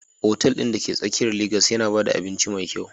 Otal ɗin da ke tsakiyar Legas yana ba da abinci mai kyau